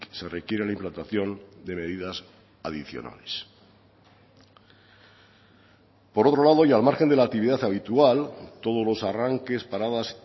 se requiere la implantación de medidas adicionales por otro lado y al margen de la actividad habitual todos los arranques paradas